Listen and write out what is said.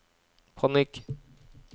panikk